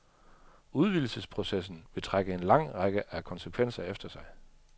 Udvidelsesprocessen vil trække en lang række af konsekvenser efter sig.